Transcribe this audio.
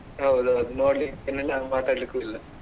ಹೌದೌದು ನೋಡ್ಲಿಕ್ಕೂನು ಇಲ್ಲ ಮಾತಡ್ಲಿಕ್ಕು ಇಲ್ಲ.